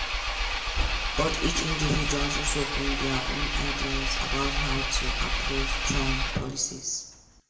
but each individual also bring dia own ideas about how to approve trump policies.